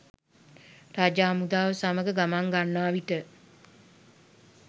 රජු හමුදාව සමඟ ගමන් ගන්නාවිට